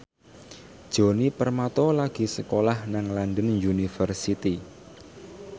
Djoni Permato lagi sekolah nang London University